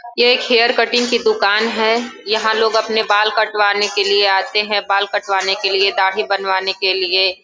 ये एक hair cutting की दुकान है। यहाँ लोग अपने बाल कटवाने के लिए आते हैं। बाल कटवाने के लिए दाड़ी बनवाने के लिए।